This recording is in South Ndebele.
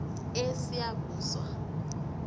esiyabuswa